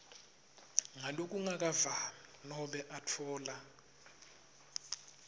ngalokungakavami nobe atfola